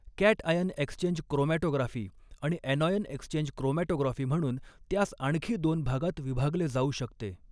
Cation exchange chromatography आणि anion exchange chromatography म्हणून त्यास आणखी दोन भागात विभागले जाऊ शकते.